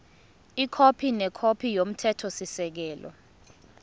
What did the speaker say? ikhophi nekhophi yomthethosisekelo